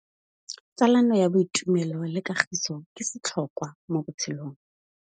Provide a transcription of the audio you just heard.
Tsalano ya boitumelo le kagiso ke setlhôkwa mo botshelong.